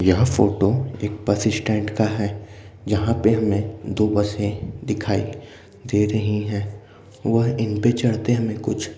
यह फोटो एक bus stand का है जहाँ पे हमें दो बसें दिखाई दे रही हैं। वह इनपे चढ़ते हमें कुछ --